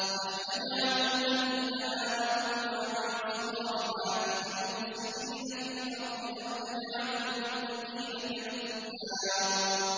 أَمْ نَجْعَلُ الَّذِينَ آمَنُوا وَعَمِلُوا الصَّالِحَاتِ كَالْمُفْسِدِينَ فِي الْأَرْضِ أَمْ نَجْعَلُ الْمُتَّقِينَ كَالْفُجَّارِ